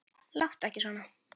Láttu ekki svona.